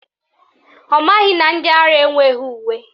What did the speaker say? Ọ maghị na ndị ara enweghị uwe